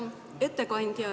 Hea ettekandja ...